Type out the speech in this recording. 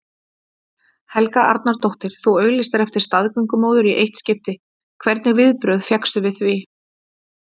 Helga Arnardóttir: Þú auglýstir eftir staðgöngumóður í eitt skipti, hvernig viðbrögð fékkstu við því?